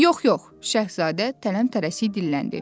Yox, yox, şahzadə tələm-tələsik dilləndi.